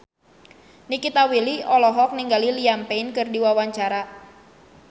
Nikita Willy olohok ningali Liam Payne keur diwawancara